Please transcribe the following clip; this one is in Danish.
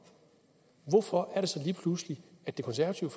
hvorfor er det så lige pludselig at det konservative